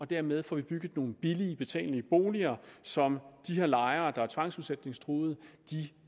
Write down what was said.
dermed får bygget nogle billige betalelige boliger som de her lejere der er tvangsudsætningstruede